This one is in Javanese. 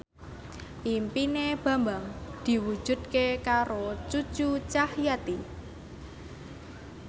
impine Bambang diwujudke karo Cucu Cahyati